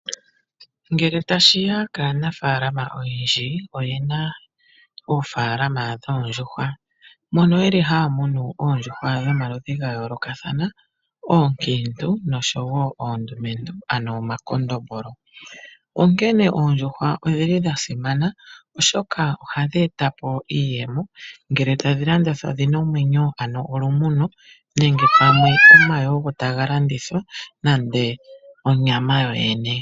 Ngele tashi ya kaanafaalama oyendji, oyena oofaalama dhoondjuhwa, mono yeli haya munu oondjuhwa dhomaludhi ga yoolokathana ookiintu noshowo oondumentu, ano omakondombolo. Onkene oondjuhwa odhili dha simana, oshoka ohadhi e ta po iiyemo, ngele tadhi landithwa dhina omwenyo, ano olumuno nenge pamwe omayi ogo taga landithwa nande onyama yoyene.